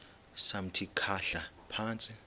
samthi khahla phantsi